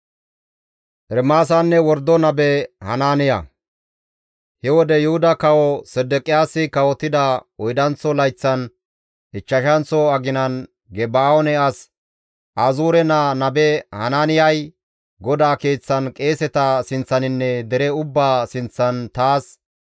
He wode Yuhuda kawo Sedeqiyaasi kawotida oydanththo layththan ichchashanththo aginan Geba7oone as Azuure naa nabe Hanaaniyay GODAA Keeththan qeeseta sinththaninne dere ubbaa sinththan taas,